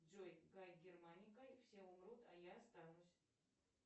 джой гай германика все умрут а я останусь